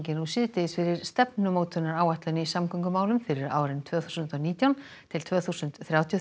nú síðdegis fyrir stefnumótunaráætlun í samgöngumálum fyrir árin tvö þúsund og nítján til tvö þúsund þrjátíu og